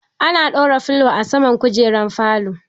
Ana ɗora turo filo a saman kujerun falo.